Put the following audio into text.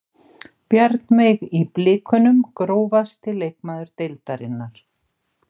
Bjarnveig í blikunum Grófasti leikmaður deildarinnar?